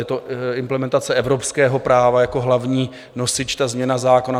Je to implementace evropského práva jako hlavní nosič, ta změna zákona.